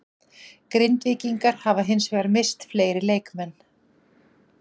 Grindvíkingar hafa hins vegar misst fleiri leikmenn.